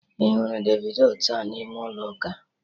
Ị hụrụ Davido taata n'ime ụlọ ụka?